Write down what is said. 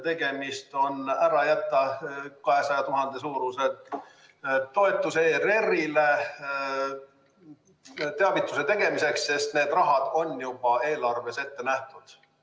Tegemist on ettepanekuga ära jätta 200 000 suurune toetus ERR-ile teavituse tegemiseks, sest need summad on juba eelarves ette nähtud.